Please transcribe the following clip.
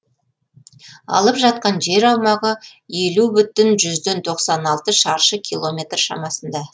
алып жатқан жер аумағы елу бүтін жүзден тоқсан алты шаршы километр шамасында